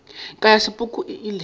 ka ya sepoko e ile